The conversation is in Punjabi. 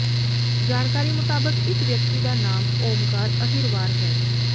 ਜਾਣਕਾਰੀ ਮੁਤਾਬਕ ਇਸ ਵਿਅਕਤੀ ਦਾ ਨਾਮ ਓਮਕਾਰ ਅਹਿਰਵਾਰ ਹੈ